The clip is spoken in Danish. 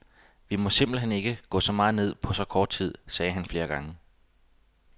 Vi må simpelt hen ikke gå så meget ned på så kort tid, sagde han flere gange.